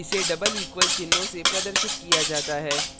इसे double equal == चिन्हों से प्रदर्शित किया जाता है